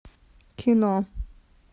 кино